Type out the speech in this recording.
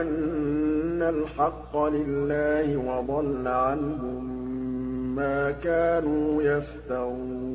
أَنَّ الْحَقَّ لِلَّهِ وَضَلَّ عَنْهُم مَّا كَانُوا يَفْتَرُونَ